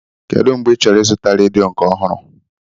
Kedụ mgbe ị chọrọ ị zụta redio nke ọhụrụ?